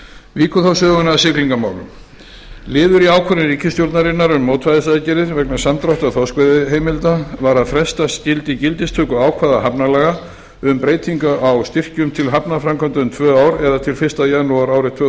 víkur þá sögunni að siglingamálum liður í ákvörðun ríkisstjórnarinnar um mótvægisaðgerðir vegna samdráttar þorskveiðiheimilda var að fresta skyldi gildistöku ákvæða hafnalaga um breytingu á styrkjum til hafnarframkvæmda um tvö ár eða til fyrsta janúar árið tvö